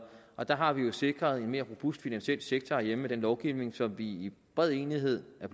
der har vi jo sikret en mere robust finansiel sektor herhjemme med den lovgivning som vi i bred enighed har